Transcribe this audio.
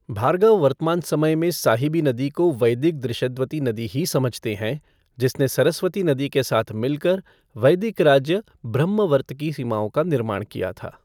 भार्गव वर्तमान समय में साहिबी नदी को वैदिक दृशद्वती नदी ही समझते हैं, जिसने सरस्वती नदी के साथ मिलकर वैदिक राज्य ब्रह्मवर्त की सीमाओं का निर्माण किया था।